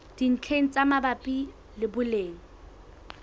dintlheng tse mabapi le boleng